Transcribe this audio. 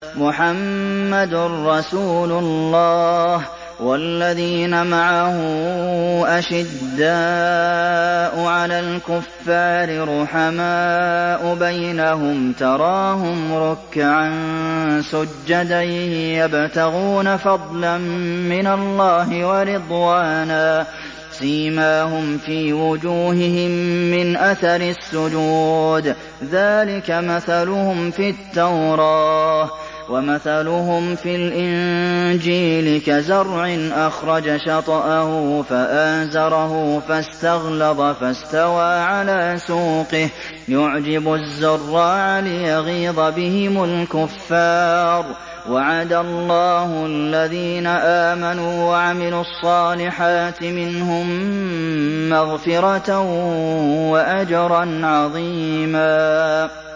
مُّحَمَّدٌ رَّسُولُ اللَّهِ ۚ وَالَّذِينَ مَعَهُ أَشِدَّاءُ عَلَى الْكُفَّارِ رُحَمَاءُ بَيْنَهُمْ ۖ تَرَاهُمْ رُكَّعًا سُجَّدًا يَبْتَغُونَ فَضْلًا مِّنَ اللَّهِ وَرِضْوَانًا ۖ سِيمَاهُمْ فِي وُجُوهِهِم مِّنْ أَثَرِ السُّجُودِ ۚ ذَٰلِكَ مَثَلُهُمْ فِي التَّوْرَاةِ ۚ وَمَثَلُهُمْ فِي الْإِنجِيلِ كَزَرْعٍ أَخْرَجَ شَطْأَهُ فَآزَرَهُ فَاسْتَغْلَظَ فَاسْتَوَىٰ عَلَىٰ سُوقِهِ يُعْجِبُ الزُّرَّاعَ لِيَغِيظَ بِهِمُ الْكُفَّارَ ۗ وَعَدَ اللَّهُ الَّذِينَ آمَنُوا وَعَمِلُوا الصَّالِحَاتِ مِنْهُم مَّغْفِرَةً وَأَجْرًا عَظِيمًا